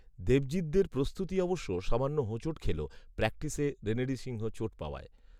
দেবজিতদের প্রস্তুতি অবশ্য সামান্য হোঁচট খেল, প্র্যাকটিসে রেনেডি সিংহ চোট পাওয়ায়